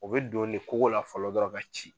O be don ne kogo la fɔlɔ dɔrɔn ka ci